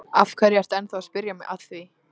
Af hverju ertu að spyrja mig að því?